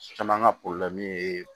Caman ka ye